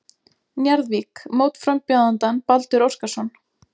Njarðvík mótframbjóðandann Baldur Óskarsson.